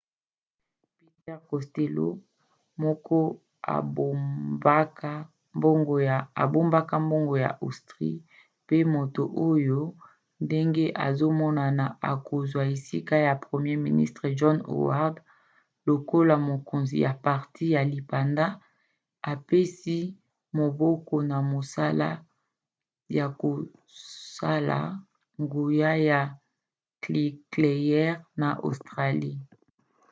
peter costello moko abombaka mbongo ya austrie pe moto oyo ndenge ezomonana akozwa esika ya premier ministre john howard lokola mokonzi ya parti ya lipanda apesi maboko na mosala ya kosala nguya ya nikleyere na australie